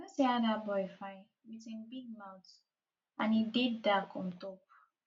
i no see how dat boy fine with him big mouth and he dey dark on top